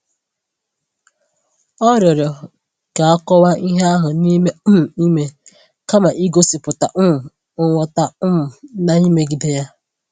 O rịọrọ ka e kọwaa ihe ahụ n’ime um ime kama igosipụta um nghọta um na-emegide ya.